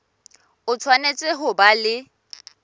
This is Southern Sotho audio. o tshwanetse ho ba le